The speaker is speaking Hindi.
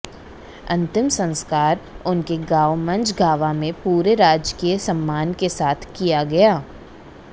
अंतिम संस्कार उनके गांव मझगांवा में पूरे राजकीय सम्मान के साथ किया गया